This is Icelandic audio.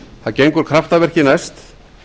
það gengur kraftaverki næst